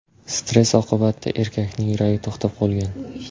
Stress oqibatida erkakning yuragi to‘xtab qolgan.